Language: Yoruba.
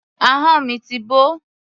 Ahọ́n mi ti bó.